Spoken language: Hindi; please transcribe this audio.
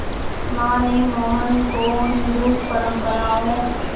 मां ने मोहन को हिंदू परंपराओं